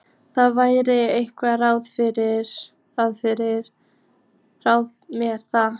Það verði einhver ráð með það.